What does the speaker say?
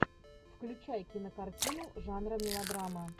включай кинокартину жанра мелодрама